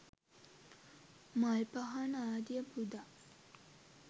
මල් පහන් ආදිය පුදා